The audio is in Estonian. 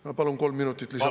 Ma palun kolm minutit lisaaega.